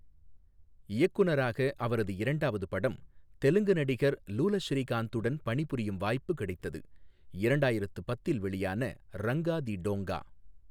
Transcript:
இயக்குனராக அவரது இரண்டாவது படம் தெலுங்கு நடிகர் லுலஸ்ரீகாந்துடன் பணிபுரியும் வாய்ப்பு கிடைத்தது இரண்டாயிரத்து பத்தில் வெளியான ரங்கா தி டோங்கா.